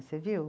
Você viu?